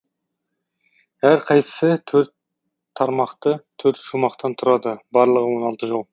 әрқайсысы төрт тармақты төрт шумақтан тұрады барлығы он алты жол